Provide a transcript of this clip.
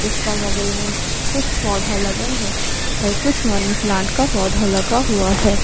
इसका बगल में कुछ पौधा लगल है और कुछ मनी प्लांट का पौधा लगा हुआ है।